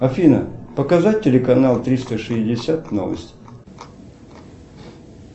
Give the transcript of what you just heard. афина показать телеканал триста шестьдесят новости